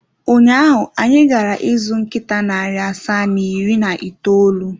Ụnyaahụ, anyị gara ịzụ nkịta narị asaa na iri na itoolu.